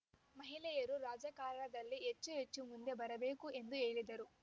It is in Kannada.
ಮಹಿಳೆಯರು ರಾಜಕಾರಣದಲ್ಲಿ ಹೆಚ್ಚುಹೆಚ್ಚು ಮುಂದೆ ಬರಬೇಕು ಎಂದು ಹೇಳಿದರು